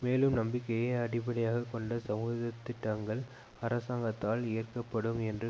மேலும் நம்பிக்கையை அடிப்படையாக கொண்ட சமூகத்திட்டங்கள் அரசாங்கத்தால் ஏற்கப்படும் என்ற